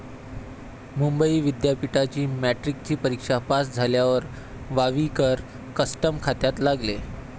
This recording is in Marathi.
मुंबई विध्यापिठाची मॅट्रिकची परीक्षा पास झाल्यावर वावीकर कस्टम खात्यात लागले.